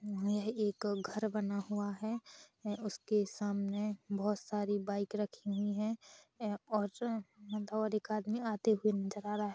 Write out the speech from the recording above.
--म यह एक घर बना हुआ हैं उसके सामने बहोत सारी बाइक रखी हुई हैं और जो हैं इधर एक आदमी आते हुए नजर आ रहा हैं।